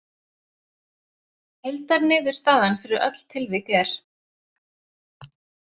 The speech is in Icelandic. Heildarniðurstaðan fyrir öll tilvik er